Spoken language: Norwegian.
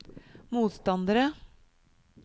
motstandere